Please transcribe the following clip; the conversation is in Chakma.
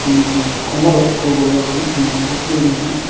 mile ekko morot ekko boi agon muan dakke gurine.